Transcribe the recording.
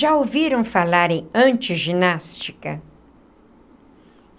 Já ouviram falar em antiginástica?